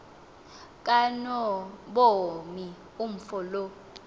kanobomi umfo lo